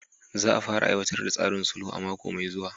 Za a fara aiwatar da tsarin sulhu a mako mai zuwa.